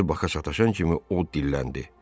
Gözü baka sataşan kimi o dilləndi.